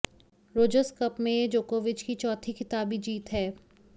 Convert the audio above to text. Rogers cup में यह जोकोविच की चौथी खिताबी जीत है